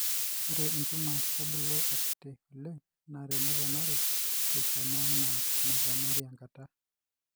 Ore intumors kebulu akiti oleng naa neponari tesiana anaa eneponari enkata.